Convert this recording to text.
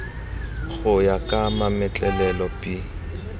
go ya ka mametlelelo b